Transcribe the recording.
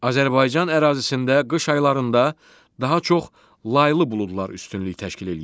Azərbaycan ərazisində qış aylarında daha çox laylı buludlar üstünlük təşkil eləyir.